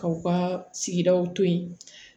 Kaw ka sigidaw to yi